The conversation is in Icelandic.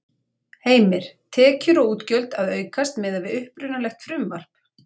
Heimir: Tekjur og útgjöld að aukast miðað við upprunalegt frumvarp?